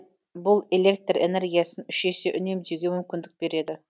бұл электр энергиясын үш есе үнемдеуге мүмкіндік береді